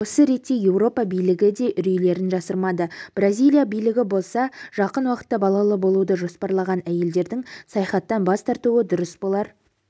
осы ретте еуропа билігі де үрейлерін жасырмады бразилия билігі болса жақын уақытта балалы болуды жоспарлаған әйелдердің саяхаттан бас тартуы дұрыс болар